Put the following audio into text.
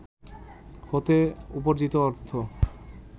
হতে উপার্জিত অর্থ